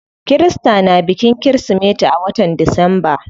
Kirista na bikin kirismeti a watan disamba.